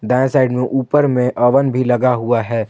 दाएं साइड में ऊपर में अवन भी लगा हुआ है।